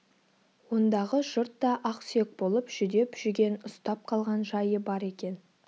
ондағы жұрт та ақ сүйек болып жүдеп жүген ұстап қалған жайы бар екен